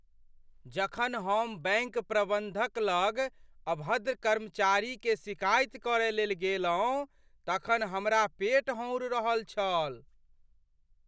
जखन हम बैंक प्रबंधक लग अभद्र कर्मचारी के सिकाइति करय लेल गेलहुँ तखन हमरा पेट हौन्ड रहल छल ।